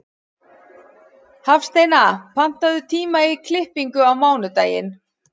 Hafsteina, pantaðu tíma í klippingu á mánudaginn.